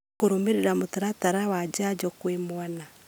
kũrũmĩrĩra mũtaratara wa njanjo kwĩ mwana